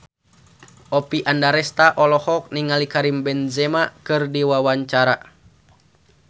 Oppie Andaresta olohok ningali Karim Benzema keur diwawancara